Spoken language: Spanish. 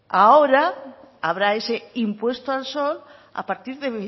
ahora habrá ese impuesto al sol a partir de